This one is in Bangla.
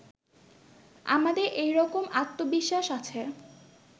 আমাদের এই রকম আত্মবিশ্বাস আছে